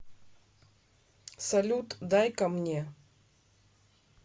салют дай ка мне